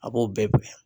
A b'o bɛɛ bila